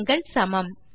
கோணங்கள் சமம்